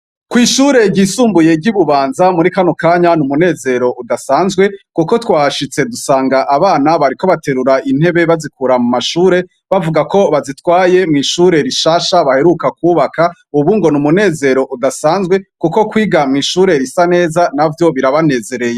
Ko'ishure ryisumbuye ry'i bubanza muri kano kanya ni umunezero udasanzwe, kuko twashitse dusanga abana bariko baterura intebe bazikura mu mashure bavuga ko bazitwaye mw'ishure rishasha baheruka kwubaka, ubu ngo ni umunezero udasanzwe, kuko kwiga mw'ishure risa neza na vyo birabanezereye.